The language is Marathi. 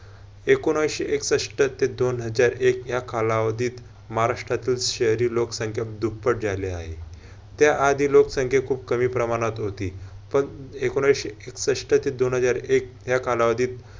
एकोणऐंशी एकसष्ट ते दोन हजार एक या कालावधीत महाराष्ट्रातातील शहरी लोकसंख्या दुप्पट झाले आहे. त्याआधी लोकसंख्या खूप कमी प्रमाणात होती. पण एकोणऐंशी एकसष्ट ते दोन हजार एक या कालावधीत